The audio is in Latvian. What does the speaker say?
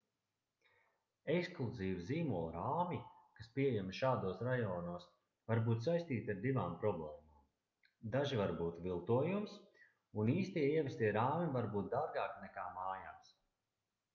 ekskluzīvi zīmolu rāmji kas pieejami šādos rajonos var būt saistīti ar divām problēmām daži var būt viltojums un īstie ievestie rāmji var būt dārgāki nekā mājās